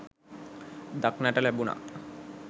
දක්නට ලැබුණා.